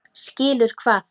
Skilur hvað?